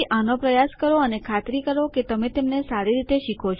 તેથી આનો પ્રયાસ કરો અને ખાતરી કરો કે તમે તેમને સારી રીતે શીખો છો